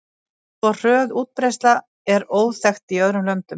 Svo hröð útbreiðsla er óþekkt í öðrum löndum.